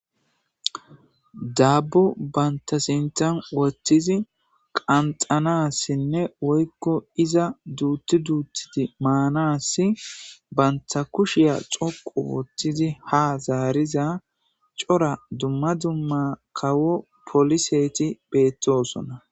Daabu bantasintan wottizi qanxanassinne woykko iza duutti duutidi maanassi banta kushiya xoqu wottidi ha zaariza cora dumma dumma kawo poliseti beettosonna.